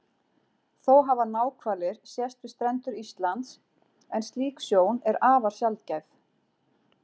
Þó hafa náhvalir sést við strendur Íslands en slík sjón er afar sjaldgæf.